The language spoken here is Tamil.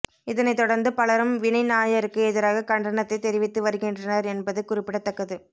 இதனை தொடர்ந்து பலரும் வினய் நாயருக்கு எதிராக கண்டனத்தை தெரிவித்து வருகின்றனர் என்பது குறிப்பிடத்தக்கது